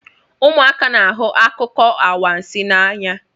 Ụmụaka na-ahụ akụkọ anwansi n'anya